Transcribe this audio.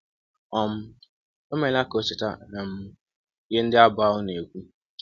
um Ọ meela ka ọ cheta um ihe ndị abụ ahụ na - ekwụ.